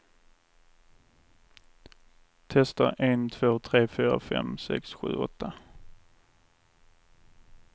Testar en två tre fyra fem sex sju åtta.